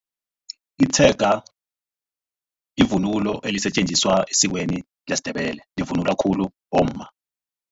Itshega livunulo elisetjenziswa esikweni lesiNdebele. Livunulwa khulu bomma.